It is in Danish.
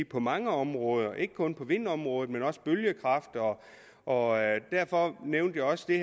på mange områder ikke kun på vindområdet men også bølgekraft og derfor nævnte jeg også i